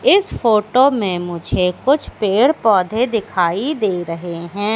इस फोटो मे मुझे कुछ पेड़ पौधे दिखाई दे रहे है।